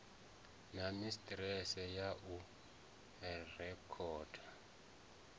na sisiteme ya u rekhoda